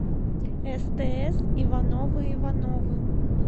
стс ивановы ивановы